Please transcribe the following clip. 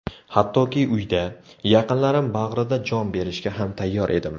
Hattoki uyda, yaqinlarim bag‘rida jon berishga ham tayyor edim.